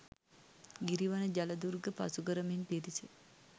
ගිරි වන ජල දුර්ග පසුකරමින් පිරිස